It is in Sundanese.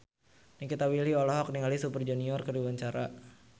Nikita Willy olohok ningali Super Junior keur diwawancara